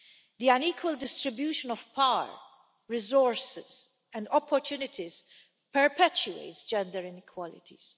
The unequal distribution of power, resources and opportunities perpetuates gender inequalities.